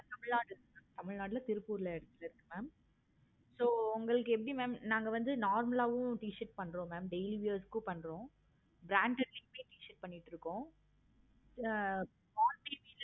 okay தமிழ்நாட்டுல திருப்பூர்ல இருக்கு mam okay so உங்களுக்கு எப்படி ma'am so நாங்க வந்து normal ஆஹ் ஹம் t-shirt பன்றோம். mam daily wears ஹம் பன்றோம். okay mam branded ளையும் t-shirt பண்ணிட்டு இருக்கோம். ஆஹ்